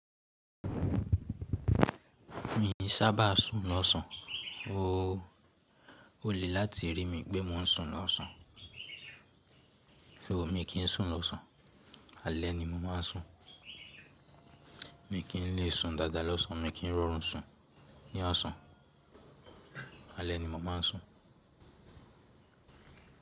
Mi ò sábà sùn lọ́sàn. O lè láti rí mi pé mò ń sùn lọ́sàn. Ṣùgbọ́n mi kì ń sùn lọ́sàn. Alẹ́ ni mo máa ń sùn. Mi kì í lè sùn dáadáa lọ́sàn-án, mi kí ń rọrùn sùn ní orṣàn. Alẹ́ ni mo máa ń sùn.